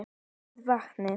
Við vatnið.